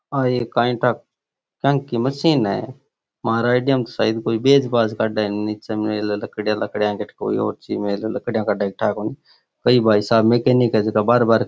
आ एक काय ठा क्यांकी मशीन है महार आइडिया मे कोई बेज बाज काड़ है --